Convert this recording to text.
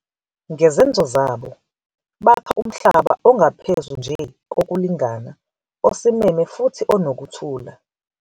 Ngezenzo zabo, bakha umhlaba ongaphezu nje, kokulingana, osimeme futhi onokuthula.